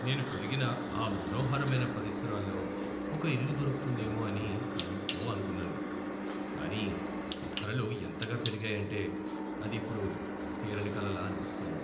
నేను పెరిగిన ఆ మనోహరమైన పరిసరాల్లో ఒక ఇల్లు దొరుకుతుందేమో అని ఎంతో అనుకున్నాను, కానీ ధరలు ఎంతగా పెరిగాయంటే అది ఇప్పుడు తీరని కలలా అనిపిస్తోంది.